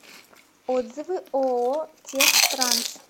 отзывы ооо техтранс